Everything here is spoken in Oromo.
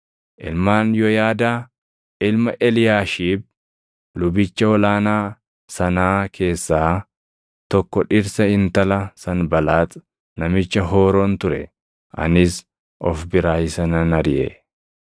Ilmaan Yooyaadaa ilma Eliyaashiib lubicha ol aanaa sanaa keessaa tokko dhirsa intala Sanbalaax namicha Hooroon ture. Anis of biraa isa nan ariʼe.